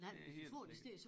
Det helt sikkert